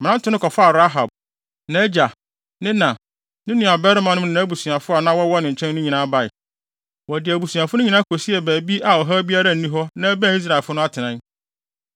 Mmerante no kɔfaa Rahab, nʼagya, ne na, ne nuabarimanom ne abusuafo a na wɔwɔ ne nkyɛn no nyinaa bae. Wɔde abusuafo no nyinaa kosiee baabi a ɔhaw biara nni hɔ na ɛbɛn Israelfo atenae.